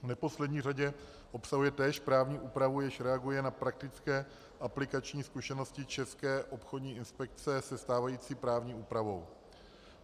V neposlední řadě obsahuje též právní úpravu, jež reaguje na praktické aplikační zkušenosti České obchodní inspekce se stávající právní úpravou.